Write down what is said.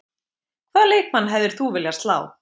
Hvaða leikmann hefðir þú viljað slá?